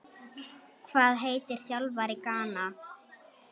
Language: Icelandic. Hvað heitir þjálfari Gana?